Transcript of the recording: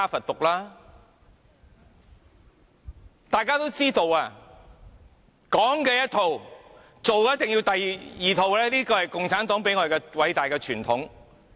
大家也知道，說的是一套，做的一定是要第二套，這是共產黨偉大的傳統。